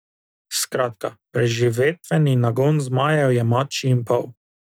Skratka, preživetveni nagon zmajev je mačji in pol.